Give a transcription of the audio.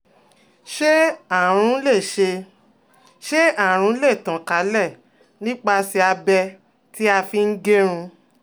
Ṣé àrùn lè Ṣé àrùn lè tàn kálẹ̀ nípasẹ̀ abẹ tí a fi ń gẹrun?